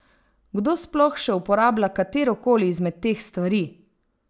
Kdo sploh še uporablja katero koli izmed teh stvari?